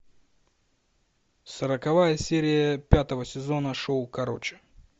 сороковая серия пятого сезона шоу короче